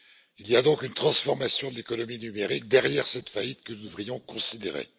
Il y a donc une transformation de l'économie numérique derrière cette faillite que nous devrions considérer.